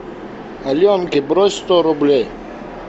аленке брось сто рублей